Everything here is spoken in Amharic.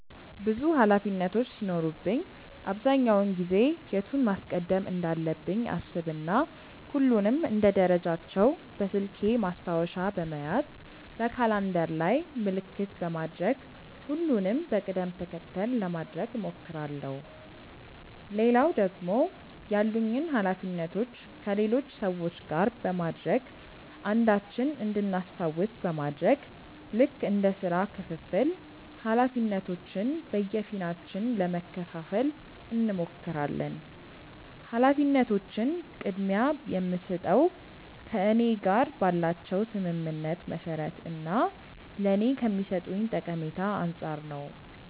ብዙ ኃላፊነቶች ሲኖሩብኝ አብዛኛውን ጊዜ የቱን ማስቀደም እንዳለብኝ አሰብ እና ሁሉንም እንደ ደረጃቸው በስልኬ ማስታወሻ በመያዝ በካላንደር ላይም ምልክት በማድረግ ሁሉንም በቅድም ተከተል ለማድረግ እሞክራለው። ሌላው ደግሞ ያሉኝን ኃላፊነቶች ከሌሎች ሰዎች ጋር በማድረግ አንዳችን እንድናስታውስ በማድረግ ልክ እንደ ስራ ክፍፍል ኃላፊነቶችን በየፊናችን ለመከፈፋል እንሞክራለን። ኃላፊነቶችን ቅድምያ የምስጠው ከእኔ ጋር ባላቸው ስምምነት መሰረት እና ለኔ ከሚሰጡኝ ጠቀሜታ አንፃር ነው።